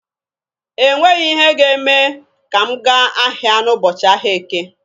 E nweghi ihe ga-eme ka m gaa ahịa n'ụbọchị ahịa Eke.